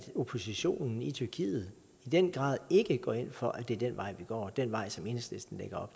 oppositionen i tyrkiet i den grad ikke går ind for at det er den vej vi går altså den vej som enhedslisten lægger